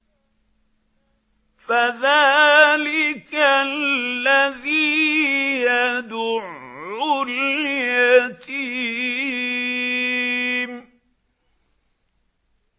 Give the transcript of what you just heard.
فَذَٰلِكَ الَّذِي يَدُعُّ الْيَتِيمَ